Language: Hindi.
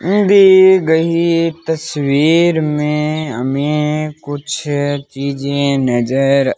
दिए गही तस्वीर में हमें कुछ चीज नजर --